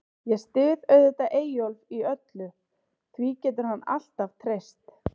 Ég styð auðvitað Eyjólf í öllu, því getur hann alltaf treyst.